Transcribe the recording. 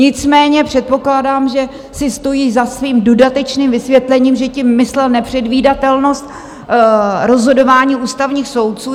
Nicméně předpokládám, že si stojí za svým dodatečným vysvětlením, že tím myslel nepředvídatelnost rozhodování ústavních soudců.